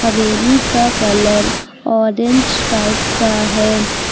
हवेली का colour orange type का है।